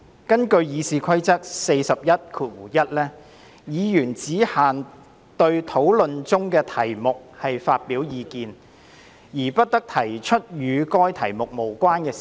根據《議事規則》第411條，"議員只限對討論中的題目發表意見，而不得提出與該題目無關的事宜"。